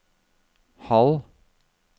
halv